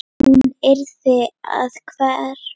Hún yrði að hverfa.